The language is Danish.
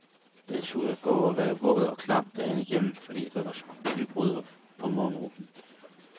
Det er surt at gå og være våd og klam dagen igennem, fordi der var skybud på morgenturen.